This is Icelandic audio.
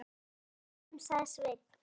Ég er líka í bænum, sagði Sveinn.